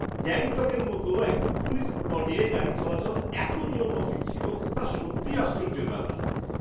গ্যাংটকের মতো একটা টুরিস্ট স্পটে গাড়ি চলাচল এত নিয়মমাফিক ছিল, তা সত্যিই আশ্চর্যের ব্যাপার!